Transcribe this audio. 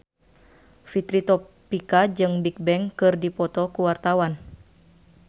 Fitri Tropika jeung Bigbang keur dipoto ku wartawan